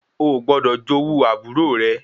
Oò gbọdọ̀ jowú àbúrò rẹ